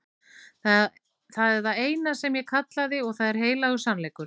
Það er það eina sem ég kallaði og það er heilagur sannleikur.